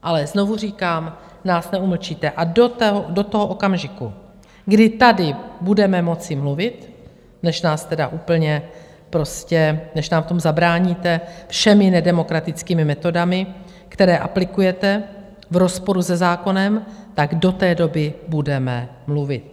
Ale znovu říkám, nás neumlčíte a do toho okamžiku, kdy tady budeme moci mluvit, než nám v tom zabráníte všemi nedemokratickými metodami, které aplikujete v rozporu se zákonem, tak do té doby budeme mluvit.